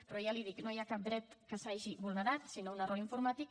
però ja li ho dic no hi ha cap dret que s’hagi vulnerat sinó un error informàtic